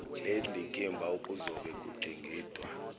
lendikimba okuzobe kudingidwa